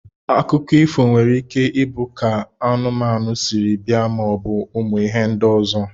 Akụkọ ifo nwere ike ibu ka anụmanu siri bia ma obu ụmụ ihe ndi ọzọ.